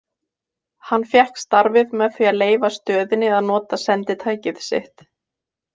Hann fékk starfið með því að leyfa stöðinni að nota senditækið sitt.